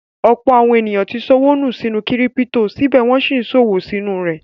Ọ̀pọ̀ àwọn èèyàn tí ṣọwọ́ nù sínú kírípítò, síbẹ̀ wọ́n n sí ṣòwò nínú rẹ̀